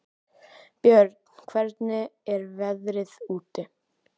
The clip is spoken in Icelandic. Björn, hvernig er veðrið úti?